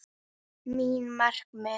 Mín markmið?